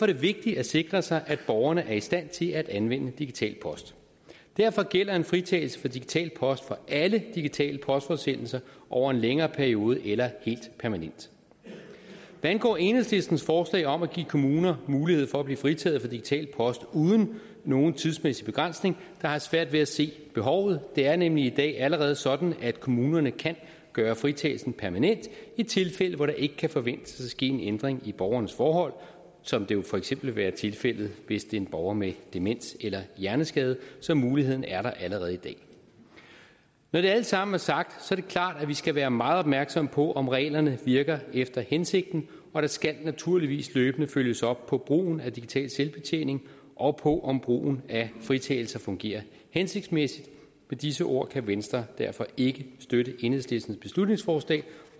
det vigtigt at sikre sig at borgerne er i stand til at anvende digital post derfor gælder en fritagelse for digital post for alle digitale postforsendelser over en længere periode eller helt permanent hvad angår enhedslistens forslag om at give kommuner mulighed for at blive fritaget for digital post uden nogen tidsmæssig begrænsning har jeg svært ved at se behovet det er nemlig i dag allerede sådan at kommunerne kan gøre fritagelsen permanent i tilfælde hvor der ikke kan forventes at ske en ændring i borgerens forhold som det jo for eksempel vil være tilfældet hvis det er en borger med demens eller hjerneskade så muligheden er der altså allerede i dag når det alt sammen er sagt er det klart at vi skal være meget opmærksomme på om reglerne virker efter hensigten og der skal naturligvis løbende følges op på brugen af digital selvbetjening og på om brugen af fritagelser fungerer hensigtsmæssigt med disse ord kan venstre derfor ikke støtte enhedslistens beslutningsforslag